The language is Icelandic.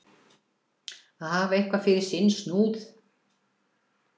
Að hafa eitthvað fyrir sinn snúð